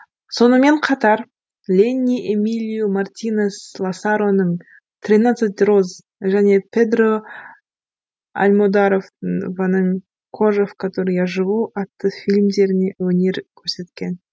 сонымен қатар ленни эмилио мартинес ласароның тринадцать роз және педро альмодаровтыңның кожа в которой я живу атты фильмдерінде өнер көрсеткен